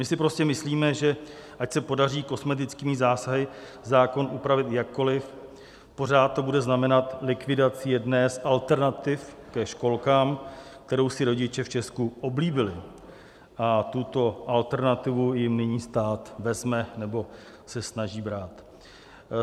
My si prostě myslíme, že ať se podaří kosmetickými zásahy zákon upravit jakkoli, pořád to bude znamenat likvidaci jedné z alternativ ke školkám, kterou si rodiče v Česku oblíbili, a tuto alternativu jim nyní stát vezme nebo se snaží brát.